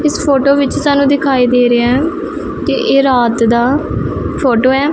ਇਸ ਫੋਟੋ ਵਿੱਚ ਸਾਨੂੰ ਦਿਖਾਈ ਦੇ ਰਿਹਾ ਐ ਕਿ ਇਹ ਰਾਤ ਦਾ ਫੋਟੋ ਐ।